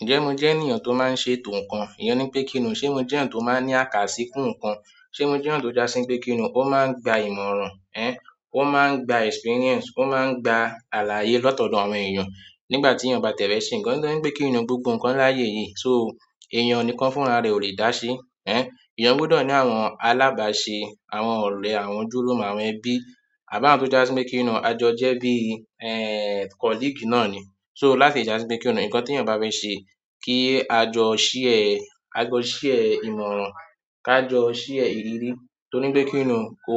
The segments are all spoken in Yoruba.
Ǹjẹ́ mo jẹ́ ènìyàn tó máa ń ṣe ètò ǹkan? Ìyẹn ni pé kí ni o, ṣe mo jẹ́ ènìyàn tó máa ń ní àkàsí fún ǹkan? Ṣe mo jẹ́ ènìyàn tó já sí wí pé kí ni, ó máa ń gba ìmọ̀ràn, ẹ́n, ó máa ń gba experience, ó máa ń gba àlàyé látọ̀dọ̀ àwọn èèyàn nígbà tí èèyàn bá ti ẹ̀ fẹ́ se ǹkan, nítorí pé kí ni o gbogbo ǹkan láyé yìí, so èèyàn ni kan fún ara rẹ̀ ò lè dá ṣe. Ẹ́n, èèyàn gbọdọ̀ ní àwọn alábàáṣe, àwọn ọ̀rẹ́, àwọn ojúlùmọ̀, àwọn ẹbí àbá àwọn tó já sí pé kí ni o, a jọ jẹ́ bí, ẹ́n, colleague náà ni. So láti já sí pé kí ni, ǹkan tí èèyàn bá fẹ́ ṣe kí a jọ share, a jọ share ìmọ̀ràn, ká jọ share ìrírí. Torí pé kí ni kò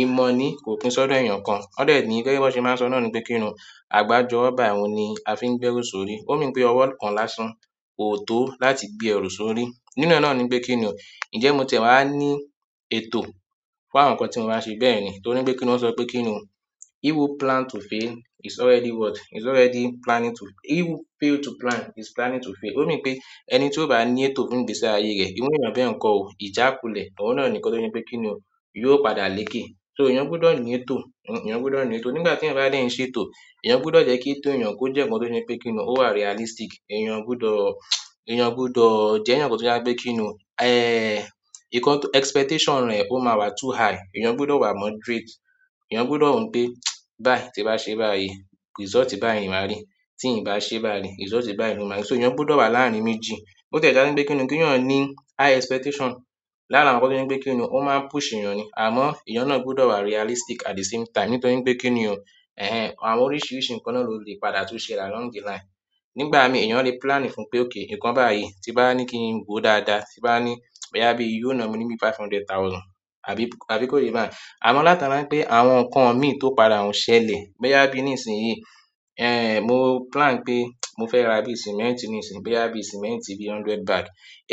imọ̀ ni kò pín ṣọ́dọ̀ èèyàn kan. Wọ́n dẹ́ ní, gẹ́gẹ́ bí wọ́n ṣe máa ń sọ náà ni pé kí ni o, àgbájọwó báyìí òhun ni a fi ń gbẹ́rù sórí. Ó mean pé ọwọ́ kan lásán kò tó láti gbé ẹrù sórí. Nínú ẹ náà ni pé kí ni o, ǹjẹ́ mo tiẹ̀ wá ní ètò fún àwọn ǹkan tí mo máa ṣe bẹ́ẹ̀ ni. Torí pé kí ni wọ́n sọ pé kí ni o, "he who plan to fail, it's already what? It's already planning to-- he who fail to plan, his planning to fail." Ó mean pé ẹni tí ó bá ní ètò nínú ìgbésí ayé rẹ̀, irú èèyàn bẹ́ẹ̀ n kọ́ ò, ìjà kulẹ̀, òun náà ni nǹkan tó ṣe pé kí ni o yóò padà lékè. So èèyàn gbọdọ̀ ní ètò, èèyàn gbọdọ̀ ní ètò. Nígbà tí èèyàn bá dẹ́ ń ṣe ètò, èèyàn gbọdọ̀ jẹ́ kí ètó èèyàn kó jẹ́ ǹkan tó ṣe ní pé kí ni, ó wà realistic. Èèyàn o gbọdọ̀, èèyàn o gbọdọ̀ jẹ́ èèyàn kan tó já pé kí ni o, ẹ́ẹ́, ǹkan expectation rẹ̀ ó máa wà too high. Ìyẹn gbọdọ̀ wà moderate. Èèyàn gbọdọ̀ wòó pé, báì, tí n bá ṣe báyìí result báyìí máa rí. Tí èèyàn bá se báyìí result báyìí ló máa rí so èèyàn gbọdọ̀ wà ní àárín méjì. Ó tiẹ̀ dá wí pé kí ni, kí èèyàn o ní high expectation. Lára àwọn tó ṣe wí pé kí ni, ó máa ń push èèyàn ni. Àmọ́ èèyàn náà gbọdọ̀ wà realistic at the same time. Nítorí pé kí ni, ẹ́hẹ́n, àwọn oríṣiríṣi ǹkan náà ló lè padà tún ṣe lẹ̀ along the line. Ni ìgbà mii èèyàn le plan fún pé ok nǹkan báyìí tí n bá ní kí n wòó dáadáa ti n bá ní bóyá bíi yíò ná mi ní bíi five hundred thousand, àbí àbí kò yé báyẹn. Àmọ́ látara wí pé àwọn ǹkan mi tó padà ún ṣẹlẹ̀, bóyá bí ní ìsìn yìí, ẹ́n, mo plan pé mo fẹ́ ra bí cement ní ìsìn, bóyá bí sìmẹ́ǹtì bí hundred bag.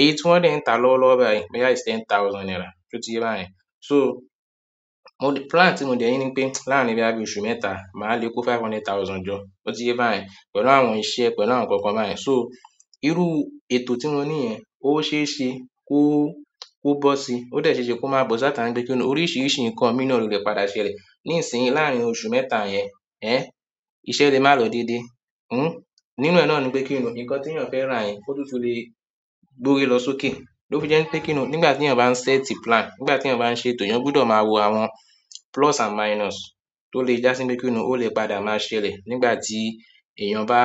Iye tí wọ́n dẹ́ ń ta lọ́wọ́lọ́wọ́ báyìí, bóyá is ten thousand naira, só ti yé bá yẹn. So mo plan tí mo dẹ̀ ní ni pé láàrin bóyá bí oṣù mẹ́ta, máa le kó five hundred thousand jọ, só ti yé báyẹn, pẹ̀lú àwọn iṣẹ́ pẹ̀lú àwọn ǹkankan báyẹn, so irú ètò tí mo ní yẹn ó ṣeéṣe kó kó bó si. Ó dẹ̀ ṣeéṣe kó máa bọ̀ si látara wí pé kí ni o, oríṣiríṣi ǹkan mi náà ló lè padà ṣe lẹ̀. Ní ìsìn yìí láàrin oṣù mẹ́ta yẹn, ẹ́n, iṣẹ́ lè má lọ dédé. Hmm. Nínú ẹ náà ni pé kí ni, ǹkan tí èèyàn fẹ́ rà yẹn, ó túntùn le gbórí lọ sókè. Ló fi jẹ́ wípé kí ni o, nígbà tí èèyàn bá ń set plan, nígbà tí èèyàn bá ń ṣe ètò, èèyàn gbọdọ̀ máa wo àwọn plus and minus tó lè já sí pé kí ni ó lè padà máa ṣe lẹ̀ nígbà tí èèyàn bá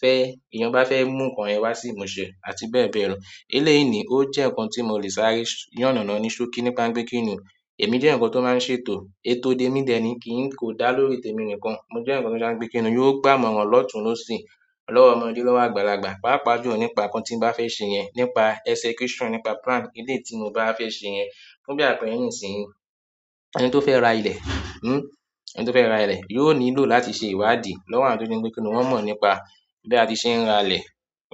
fẹ́, èèyàn bá fẹ́ mú ǹkan yẹ̀n wá sí ìmúṣẹ àti bẹ́ẹ̀ bẹ́ẹ̀ lọ. Eléyìí ní ó jẹ́ ǹkan tí mo le sàré yánànà ní ṣókí nípa wí pé kí ni o. Èmi jẹ́ èèyàn kan tó máa ń ṣe ètò. Ètò dé mi dẹ́ ni kì í, kò dá lórí tè mi nìkan. Mo jẹ́ èèyàn kan tí o já sí pé kí ni yóò gbámọ̀ran lọ́tùn-ún-lóṣì, lọ́wọ́ ọmọdé lówó àgbàlagbà, pàápàá jù lọ́ nípa ǹkan tí ń bá fẹ́ ṣe yẹn, nípa execution nípa plan eléyìí tí mo bá fẹ́ ṣe yẹn. Fún bí àpẹẹrẹ ni ìsìn yìí, ẹni tó fẹ́ ra ilẹ̀, hmm, ẹni tó fẹ́ ra ilẹ̀ yóò nílò láti ṣe ìwádìí lọ́wọ́ àwọn tó ti n gbé pé kí ni wọ́n mọ̀ nípa bí a ti ṣe ń ra ilẹ̀,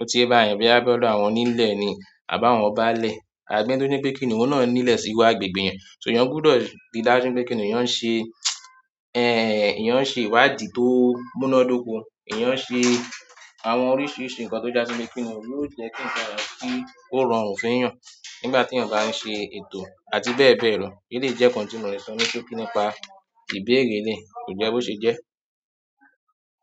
o ti yé bá yẹn, bóyá bí ọdọ àwọn onílé ni àbí àwọn báálẹ̀ àbí ẹni tó ní pé kí ni òhun náà nílé sí irú agbègbè yẹn. So èèyàn gbọdọ̀ rí dájú wípé kí ni èèyàn ń ṣe, ẹ́ẹn, èèyàn ń ṣe ìwádìí tó múnádóko. Ìyẹn ṣe àwọn oríṣiríṣi ǹkan tó já sí pé kí ni o yóò jẹ́ kí ǹkan rọrùn fún kí ó rọrùn fún èèyàn nígbà tí èèyàn bá ń ṣe ètò àti bẹ́ẹ̀ bẹ́ẹ̀ lọ. Eléyìí jẹ́ ǹkan tí mo lè sọ ní ṣókí nípa ìbéèrè elèyìí, kò jẹ́ bo ṣe jẹ́.